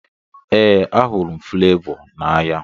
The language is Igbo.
Ee, ahụrụ m Fulevoo n'anya.